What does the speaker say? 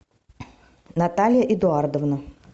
наталья эдуардовна